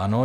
Ano.